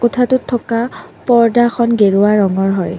কোঠাটোত থকা পৰ্দাখন গেৰুৱা ৰঙৰ হয়।